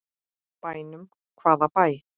Bænum, hvaða bæ?